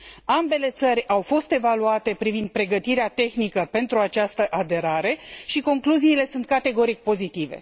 Ambele țări au fost evaluate privind pregătirea tehnică pentru această aderare și concluziile sunt, categoric, pozitive.